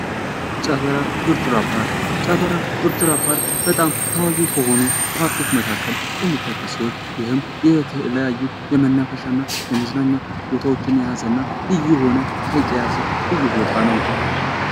ጨበራ ጩርጩራ ፓርክ በጣም ታዋቂ ከሆኑ ፓርኮች መካከል የሚጠቀስ ሲሆን ይህም የተለያዩ የመናፈሻ እና ቦታዎችን የያዘና የተለያዩ ሀይቆችን የያዘ ልዩ ቦታ ነው።